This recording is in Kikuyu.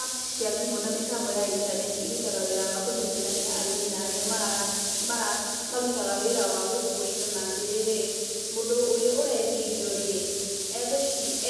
Apps cia thimũ na mĩtambo ya intaneti irutaga wĩra wa kũnyitithania arĩmi na arĩa marutaga wĩra wa gũkuua indo na atĩ rĩrĩ; mũndũ ũrĩa ũrendia indo rĩ,